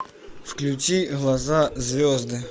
включи глаза звезды